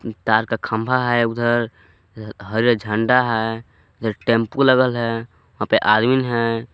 तार का खंभा है उधर अह हरे झंडा है ये टेंपो लगल है वहां पे आदमीन हैं।